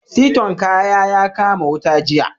Siton kaya ya kama wuta jiya